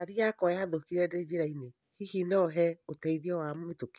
Ngari yakwa yathũkĩra ndĩ njĩra-inĩ, hihi no hee ũteithio wa mĩtũkĩ